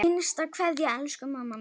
HINSTA KVEÐJA Elsku mamma mín.